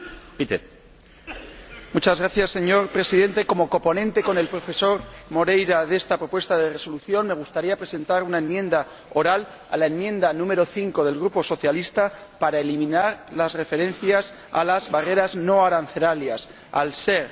Señor Presidente, como coponente con el profesor Moreira de esta propuesta de Resolución, me gustaría presentar una enmienda oral a la enmienda 5 del Grupo socialista para eliminar las referencias a las barreras no arancelarias, al no ser adecuado, desde nuestro punto de vista,